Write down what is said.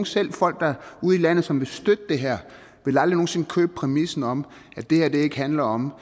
selv folk ude i landet som vil støtte det her vil aldrig nogen sinde købe præmissen om at det her ikke handler om